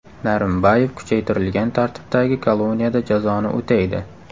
Narimbayev kuchaytirilgan tartibdagi koloniyada jazoni o‘taydi.